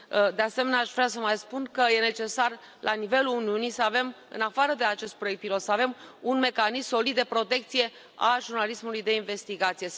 De asemenea, aș vrea să mai spun că e necesar, la nivelul Uniunii, să avem în afară de acest proiect pilot un mecanism solid de protecție a jurnalismului de investigație.